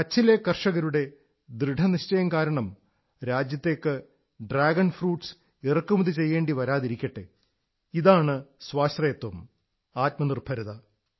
കച്ഛിലെ കർഷകരുടെ ദൃഢനിശ്ചയം കാരണം രാജ്യത്തേക്ക് ഡ്രാഗൺ ഫ്രൂട്സ് ഇറക്കുമതി ചെയ്യേണ്ടി വരാതിരിക്കട്ടെ ഇതാണ് സ്വാശ്രയത്വം ആത്മനിർഭരത